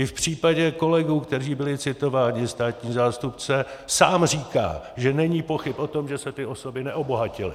I v případě kolegů, kteří byli citováni, státní zástupce sám říká, že není pochyb o tom, že se ty osoby neobohatily.